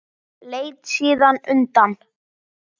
Leit síðan undan.